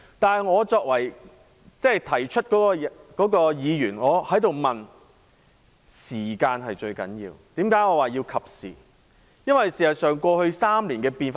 但我作為提出此事的議員，認為時間才是最重要的考量，這正是我說的"適時性"。